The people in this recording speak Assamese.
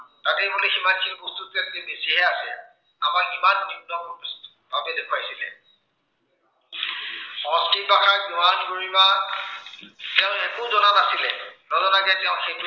তাতে বোলে সিমানখিনি বস্তুতকৈ বোলে বেছিহে আছে। আমাৰ সিমান দেখুৱাইছিলে। সংস্কৃত ভাষাৰ দোৱান গৰিমা তেওঁলোকে একো জনা নাছিলে, নজনাকে তেওঁ সেইটো